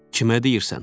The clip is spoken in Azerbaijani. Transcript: Kimə deyirsən?